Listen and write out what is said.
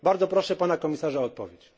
Bardzo proszę pana komisarza o odpowiedź.